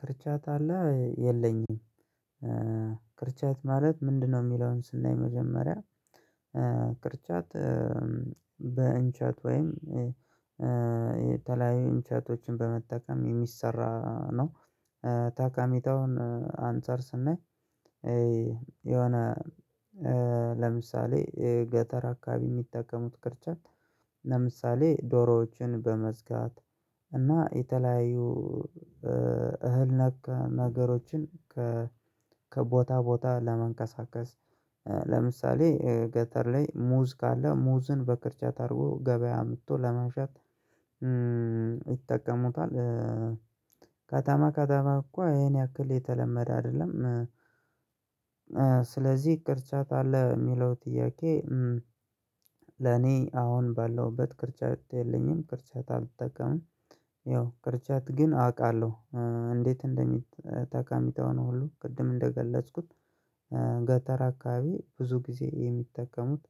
ቅርጫት አለ የለኝም። ቅርጫት ማለት ምንድነው? የሚለውን ስናይ መጀመሪያ ቅርጫት በእንጨት ወይም የተለያዩ እንጨቶችን በመጠቀም የሚሰራ ነው። ጠቀሜታውን አንፃር ስናይ። የሆነ ለምሳሌ ገጠር አካባቢ የሚጠቀሙት ቅርጫት ለምሳሌ ዶሮዎችን በመዝጋት እና የተለያዩ እህል ነክ ነገሮችን። ከቦታ ቦታ ለማንቀሳቀስ ለምሳሌ ገጠር ላይ ሙዝ ካለ ሙዝን በቅርጫት አድርጎ ገበያ አምጥቶ ለመሸጥ ይጠቀሙታል። ከተማ ከተማ እኮ ይሄን ያክል የተለመደ አይደለም። ስለዚህ ቅርጫት አለ የሚለው ጥያቄ። ለኔ አሁን ባለሁበት ቅርጫት የለኝም ቅርጫት አልጠቀምም። ያው ቅርጫት ግን አውቃለሁ። እንዴት? እንደሚጠቅም ጠቀሜታውን ሁሉ ቅድም እንደገለጽኩት። ገጠር አካባቢ ብዙ ጊዜ የሚጠቀሙት